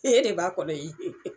E de b'a kɔnɔ